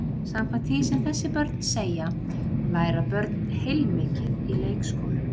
Samkvæmt því sem þessi börn segja læra börn heilmikið í leikskólum.